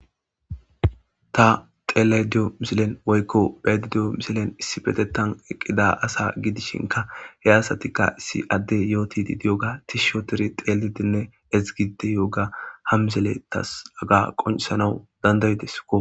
Ta xellida diyo missilen woyko be7ayds diyo missilen issipeteththan uttida asa gidishin he asatika adey yotidi diyoga tishi ottidi xalidinne ezzgidi diyogga ha missiley tas hagga qonccisanawu dandaidesikko